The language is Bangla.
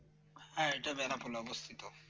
হ্যাঁ এটা বেনাপোল এ অবস্থিত